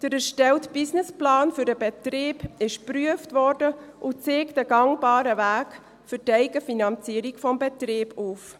Der erstellte Businessplan für den Betrieb wurde geprüft und zeigt einen gangbaren Weg für die Eigenfinanzierung des Betriebs auf.